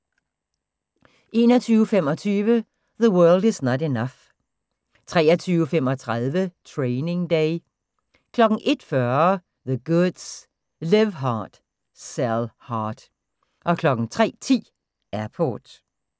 21:25: The World Is Not Enough 23:35: Training Day 01:40: The Goods: Live Hard, Sell Hard 03:10: Airport